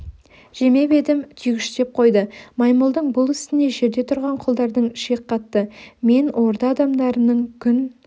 жемеп едім түйгіштеп қойды маймылдың бұл ісіне жерде тұрған құлдардың шек қатты мен орда адамдарының күн